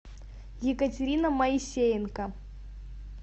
екатерина моисеенко